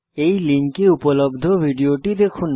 এই লিঙ্কে উপলব্ধ ভিডিওটি দেখুন